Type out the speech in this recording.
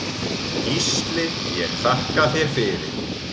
Gísli ég þakka þér fyrir.